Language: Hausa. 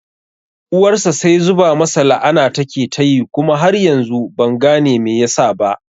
Uwarsa sai zuba masa la'ana take tayi kuma har yanzu ban gane me yasa ba